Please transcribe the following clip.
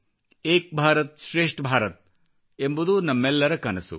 ಏಕ್ ಭಾರತ್ ಶ್ರೇಷ್ಠ ಭಾರತ್ ಎಂಬುದು ನಮ್ಮೆಲ್ಲರ ಕನಸು